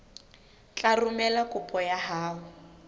tla romela kopo ya hao